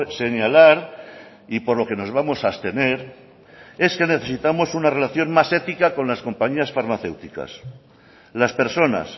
señalar y por lo que nos vamos a abstener es que necesitamos una relación más ética con las compañías farmacéuticas las personas